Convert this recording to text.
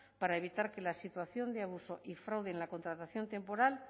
para evitar que la situación de abuso y fraude en la contratación temporal